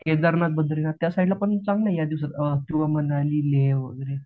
केदारनाथ बद्रीनाथ त्या साईडला पण चांगलय या दिवसात किंवा मनाली लेह वगैरे